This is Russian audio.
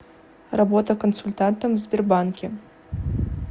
работа консультантом в сбербанке